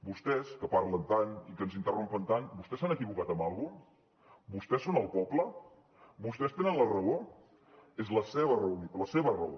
vostès que parlen tant i que ens interrompen tant vostès s’han equivocat en alguna cosa vostès són el poble vostès tenen la raó és la seva raó la seva raó